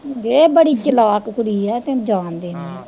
ਇਹ ਬੜੀ ਚਲਾਕ ਕੁੜੀ ਐ, ਤੁਹੀਂ ਜਾਣਦੇ ਨੀ।